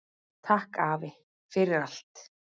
Takk afi, fyrir allt.